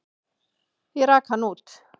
Ég rak hann út.